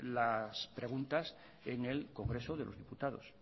las preguntas en el congreso de los diputados